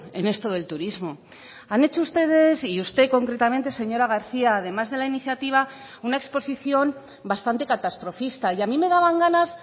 en esto del turismo han hecho ustedes y usted concretamente señora garcía además de la iniciativa una exposición bastante catastrofista y a mí me daban ganas